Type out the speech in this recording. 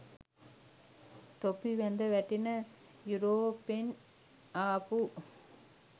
තොපි වැද වැටෙන යුරෝපෙන් ආපු